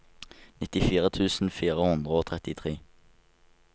nittifire tusen fire hundre og trettitre